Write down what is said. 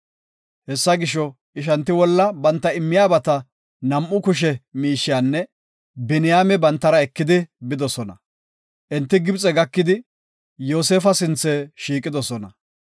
Hessa gisho, ishanti wolla banta immiyabata, nam7u kushe miishiyanne Biniyaame bantara ekidi bidosona. Enti Gibxe gakidi, Yoosefa sinthe shiiqidosona.